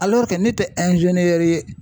ne tɛ ye.